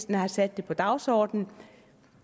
de har sat det på dagsordenen